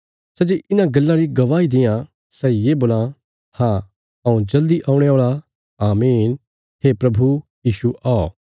सै जे इन्हां गल्लां री गवाही देआं सै ये बोलां हाँ हऊँ जल्दी औणे औल़ा आमीन हे प्रभु यीशु औ